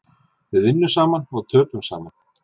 Við vinnum saman og töpum saman